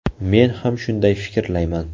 Men ham shunday fikrlayman.